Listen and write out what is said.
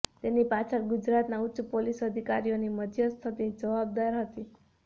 તેની પાછળ ગુજરાતના ઉચ્ચ પોલીસ અધિકારીઓની મધ્યસ્થી જવાબદાર હતી